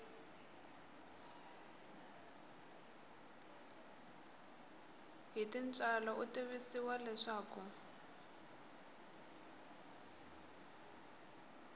hi tintswalo u tivisiwa leswaku